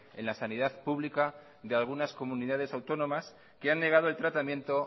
en la sanidad pública de algunas comunidades autónomas que han negado el tratamiento